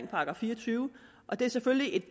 § fire og tyve og det er selvfølgelig